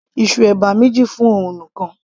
ìsù ẹ̀bà méjì fún òun nìkan